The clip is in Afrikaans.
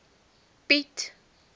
piet